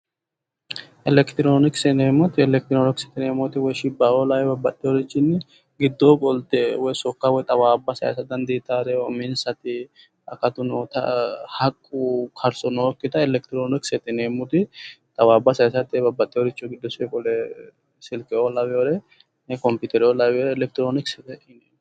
Elektronikse yineemoti, elekitronikset yineemoti woyi shibbaoo lawoyiri babaxoyorinni gidoo qolte sokka woy xawaabba sayiisa danditawoti uminsati akattu nootta haqqu karso nookitta elekitroniksete yineemoti xawaabba sayiisate babbaxoyo richi, silkeoo lawoyoore, kompitereoo lawoyoore elektroniksete yineemo